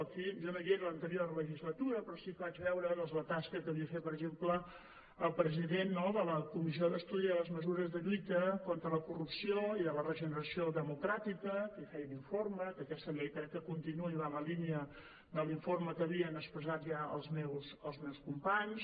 jo no hi era a l’anterior legislatura però sí que vaig veure doncs la tasca que havia fet per exemple el president de la comissió d’estudi de les mesures de lluita contra la corrupció i de la regeneració democràtica que feia una informe i que aquesta llei crec que continua i va en la línia de l’informe que havien exposat ja els meus companys